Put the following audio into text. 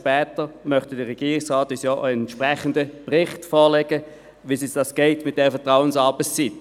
Später möchte der Regierungsrat uns ja einen entsprechenden Bericht vorlegen, wie sich das jetzt anlässt mit der Vertrauensarbeitszeit.